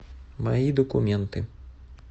мои документы